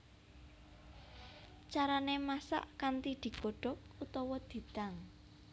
Carané masak kanthi digodhog utawa didang